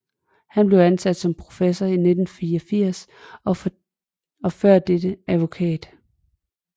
Han blev ansat som professor i 1984 og var før dette advokat